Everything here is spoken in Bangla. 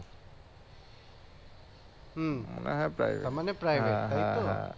হম তার মানে তাই তো?